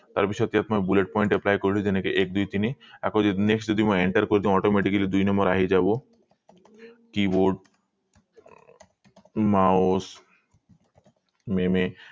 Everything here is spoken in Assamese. তাৰ পিছত ইয়াত মই bullet point apply কৰিলো এক দুই তিনি আকৌ next যদি মই enter কৰি দিও automatically দুই নম্বৰ আহি যাব keyboard mouse